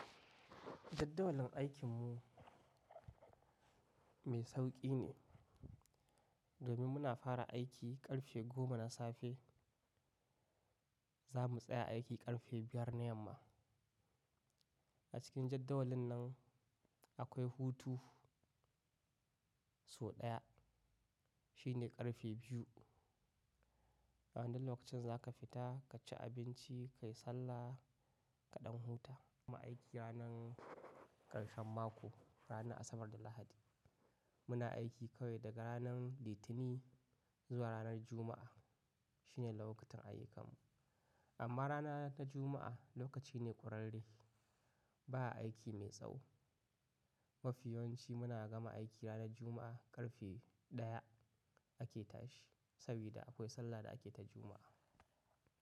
Jaddawalin aikin mu mai sauƙi ne. Domin muna fara aiki ƙarfe goma na safe, za mu tsaya aiki ƙarfe biyar na yamma. A cikin jadawalin nan akwai hutu sau ɗaya, shi ne ƙarfe biyu. Waɗannan lokacin za ka fita ka ci abinci, ka yi sallah ka ɗan huta. Mu gama aiki ranar ƙarshen mako, ranar Asabar da Lahadi. Muna aiki kawai daga ranar Litinin zuwa ranar Juma'a. Shi ne lokacin aiyukan mu. Amma rana ta Juma'a lokaci ne ƙurarre, ba a aiki mai tsawo. Mafi yawanci muna gama aiki ranar Juma'a ƙarfe ɗaya ake tashi, saboda akwai sallar da ake ta Juma'a.